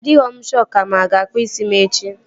Adighọ m shọ ka mụ aga akpa isi m echi